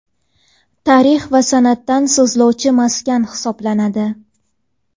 tarix va san’atdan so‘zlovchi maskan hisoblanadi.